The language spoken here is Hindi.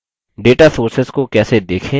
data sources को कैसे देखें